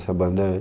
Essa banda é...